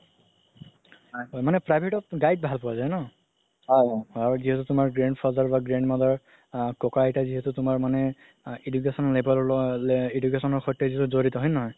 মানে private ত guide ভাল পুৱা যাই ন আৰু কি আছে grandfather বা grandmother আ ককা আইটা যিহেতু তুমাৰ মানে education সৈতে যিহেতু যৰিত হয় নে নহয়